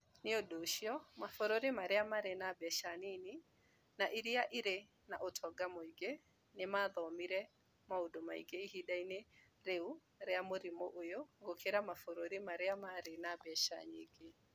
Nĩ ũndũ ũcio, mabũrũri marĩa marĩ na mbeca nini na iria irĩ na ũtonga mũingĩ nĩ maathomire maũndũ maingĩ ihinda-inĩ rĩu rĩa mũrimũ ũyũ gũkĩra mabũrũri marĩa marĩ na mbeca nyingĩ.